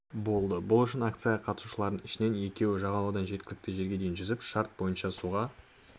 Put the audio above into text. болды бұл үшін акцияға қатысушылардың ішінен екеуі жағалаудан жеткілікті жерге дейін жүзіп шарт бойынша суға